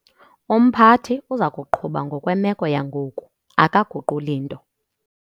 Umphathi uza kuqhuba ngokwemeko yangoku, akaguquli nto.